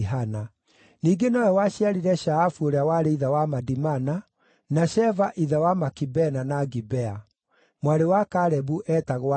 Ningĩ nowe waciarire Shaafu ũrĩa warĩ ithe wa Madimana, na Sheva ithe wa Makibena na Gibea. Mwarĩ wa Kalebu eetagwo Akisa.